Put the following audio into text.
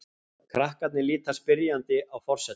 Krakkarnir líta spyrjandi á forsetann.